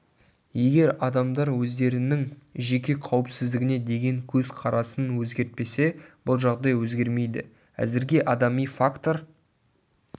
егер адамдар өздерінің жеке қауіпсіздігіне деген көз қарасын өзгертпесе бұл жағдай өзгермейді әзірге адами фактор